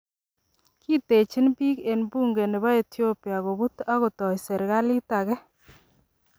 Kiitechin biik en bunge nebo Ethiopa koput ag kotoi serikalit agei.